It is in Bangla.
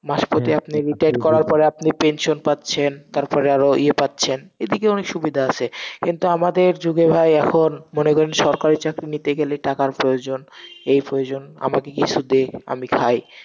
মাস প্রতি আপনি retire করার পরে আপনি pension পাচ্ছেন, তারপরে আরো ইয়ে পাচ্ছেন, এদিকে অনেক সুবিধা আছে, কিন্তু আমাদের যুগে ভাই এখন মনে করেন সরকারি চাকরি নিতে গেলে টাকার প্রয়োজন, এই প্রয়োজন, আমাকে কিছু দে, আমি খাই।